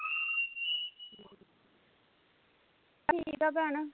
ਠੀਕ ਆ ਭੈਣ